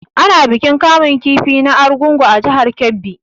Ana bikin kamun kifi na argungu a jihar Kebbi.